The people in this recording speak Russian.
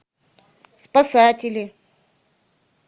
спасатели